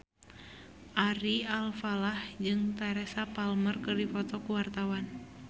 Ari Alfalah jeung Teresa Palmer keur dipoto ku wartawan